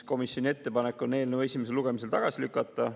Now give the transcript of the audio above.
Komisjoni ettepanek on eelnõu esimesel lugemisel tagasi lükata.